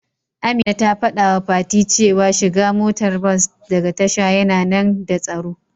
Amina ta fadawa fati cewa shiga motar bas daga tasha yana nmda tsaro.